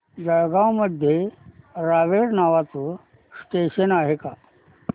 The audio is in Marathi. जळगाव मध्ये रावेर नावाचं स्टेशन आहे का